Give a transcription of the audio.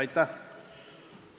Aitäh!